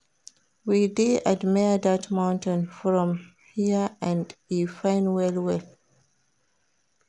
We dey admire dat mountain from hear and e fine well-well.